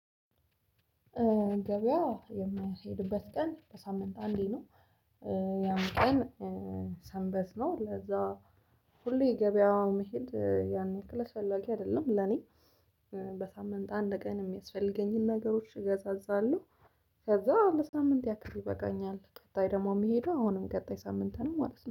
ገበያ የምሄድበት ቀን በሳምንት አንዴ ነው። ያን ቀን ሰንበስ ነው። ለዛ ሁሌ ገበያው መሄድ ያን ያክል አስፈላጊ አይደለም ለኔ። በሳምንት አንድ ቀን የሚያስፈልገኝን ነገሮች እገዛዛለሁ። ከዛ ለሳምንት ያክል ይበቃኛል ቀጣይ ደግሞ የሚሄደው አሁንም ቀጣይ ሳምንት ነው ማለት ነው